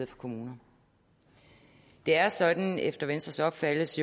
for kommuner det er sådan efter venstres opfattelse